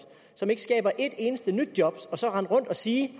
som ikke skaber ét eneste nyt job og så rende rundt og sige